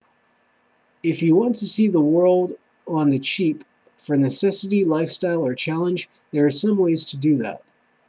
if you want to see the world on the cheap for necessity lifestyle or challenge there are some ways to do that